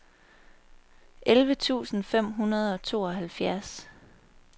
elleve tusind fem hundrede og tooghalvfjerds